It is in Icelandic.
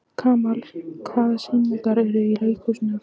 Kamal, hvaða sýningar eru í leikhúsinu á fimmtudaginn?